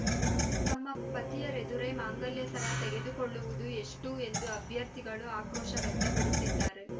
ತಮ್ಮ ಪತಿಯರೆದುರೇ ಮಾಂಗಲ್ಯಸರ ತೆಗೆದುಕೊಳ್ಳುವುದು ಎಷ್ಟುಎಂದು ಅಭ್ಯರ್ಥಿಗಳು ಆಕ್ರೋಶ ವ್ಯಕ್ತಪಡಿಸಿದ್ದಾರೆ